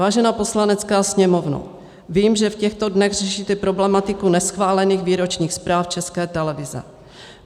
"Vážená Poslanecká sněmovno, vím, že v těchto dnech řešíte problematiku neschválených výročních zpráv České televize.